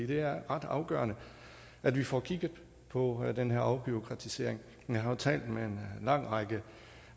det er ret afgørende at vi får kigget på den her afbureaukratisering jeg har jo talt med en lang række